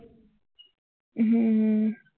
હમ